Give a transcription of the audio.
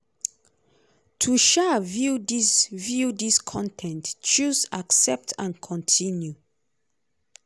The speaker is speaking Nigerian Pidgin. to um view dis view dis con ten t choose 'accept and continue'.